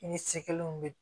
I ni sekɛlenw bɛ